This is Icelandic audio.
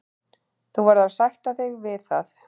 Þú verður að sætta þig við það.